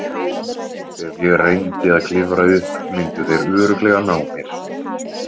Ef ég reyndi að klifra upp myndu þeir örugglega ná mér.